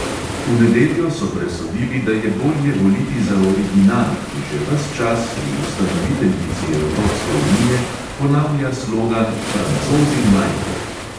V nedeljo so presodili, da je bolje voliti za original, ki že ves čas v ustanoviteljici evropske unije ponavlja slogan "francozi najprej".